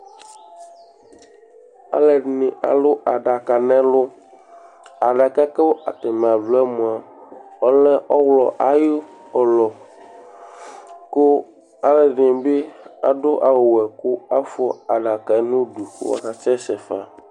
Alʋɛdìní alu aɖaka ŋu ɛlu Aɖaka kʋ ataŋi aluɛ mʋa ɔlɛ ɔwlɔ ayʋ ʋlɔ Aluɛɖìŋí bi aɖu awu wɛ kʋ afʋa aɖaka ŋu ʋdu kʋ akasɛsɛ fa